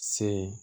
Se